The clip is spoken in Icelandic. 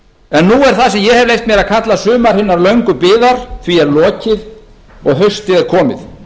en nú er því sem ég hef leyft mér að kalla sumar hinnar löngu biðar lokið og haustið er komið